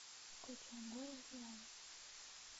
включай горе и радость